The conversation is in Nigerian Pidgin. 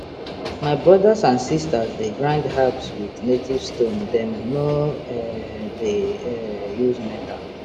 my brothers and sisters dey grind herbs with native stone dem no um dey um use metal